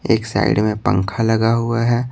एक साइड में पंखा लगा हुआ है।